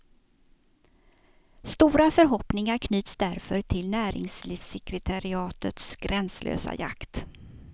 Stora förhoppningar knyts därför till näringslivssekretariatets gränslösa jakt.